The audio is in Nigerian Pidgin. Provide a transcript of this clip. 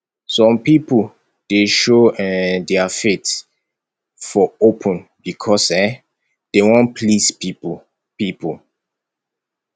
some pipo dey show um their faith for open because um dey wan please pipo pipo